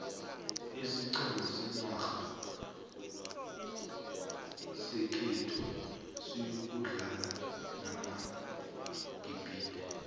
isiqhema senarha sekhethu siyokudlala namagibhide